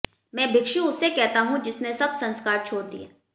मैं भिक्षु उसे कहता हूं जिसने सब संस्कार छोड़ दिए